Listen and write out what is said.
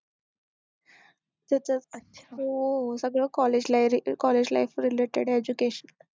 हो सगळं college lie, college life related education